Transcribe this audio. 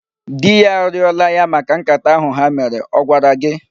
Di ya arịọla ya maka nkata ahụ ha mere. Ọ gwara gị?